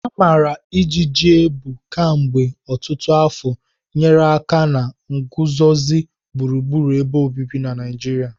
Amara ijiji ebu kemgbe ọtụtụ afọ nyere aka na nguzozi gburugburu ebe obibi na Naijiria.